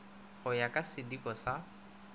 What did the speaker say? go ya ka sidiko sa